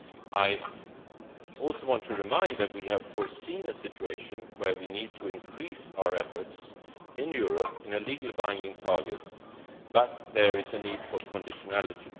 I also want to remind you that we have foreseen a situation where we need to increase our efforts in Europe within legally binding targets, but there is a need for conditionality.